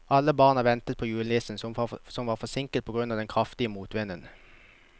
Alle barna ventet på julenissen, som var forsinket på grunn av den kraftige motvinden.